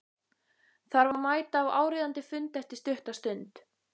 Þarf að mæta á áríðandi fund eftir stutta stund.